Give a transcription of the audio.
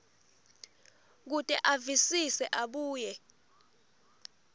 kute avisise abuye